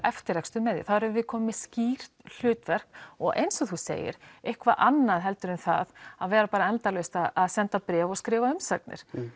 eftirrekstur með því þá erum við komin með skýrt hlutverk og eins og þú segir eitthvað annað heldur en það að vera bara endalaust að senda bréf og skrifa umsagnir